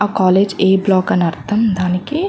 ఆ college A block అని అర్ధం దానికి --